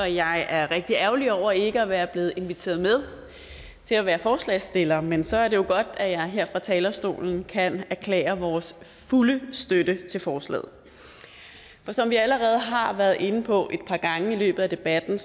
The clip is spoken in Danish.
jeg er rigtig ærgerlig over ikke at være blevet inviteret med til at være forslagsstiller men så er det jo godt at jeg her fra talerstolen kan erklære vores fulde støtte til forslaget for som vi allerede har været inde på et par gange i løbet af debatten